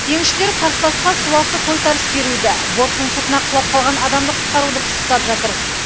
теңізшілер қарсыласқа суасты тойтарыс беруді борттың сыртына құлап қалған адамды құтқаруды пысықтап жатыр